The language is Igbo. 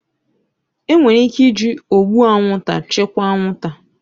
Enwere ike iji ụgbụ anwụnta chịkwaa anwụnta